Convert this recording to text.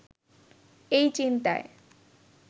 এই চিন্তায়